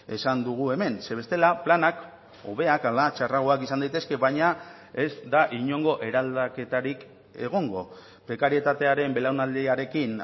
esan dugu hemen ze bestela planak hobeak ala txarragoak izan daitezke baina ez da inongo eraldaketarik egongo prekarietatearen belaunaldiarekin